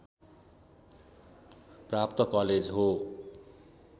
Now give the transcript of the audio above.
प्राप्त कलेज हो